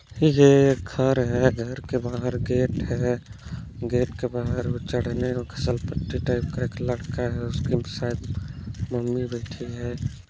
ये एक घर है घर के बाहर गेट है गेट के बाहर चढ़ने फिसल पट्टी टाइप का लटका है उसकी शायद मम्मी बैठी है।